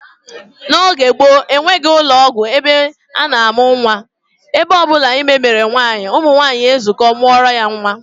N'oge gboo, enweghị ụlọọgwụ ebe a na-amụ nnwa, ebe ọ bụla ime mere nwaanyị, ụmụnwaanyị ezukọọ mụọrọ ya nnwa